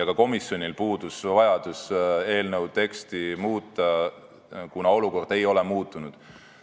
Ka komisjonil puudus vajadus eelnõu teksti muuta, kuna olukord ei ole muutunud.